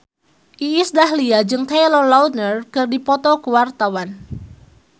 Iis Dahlia jeung Taylor Lautner keur dipoto ku wartawan